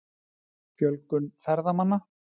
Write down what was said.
Fjölgun ferðamanna?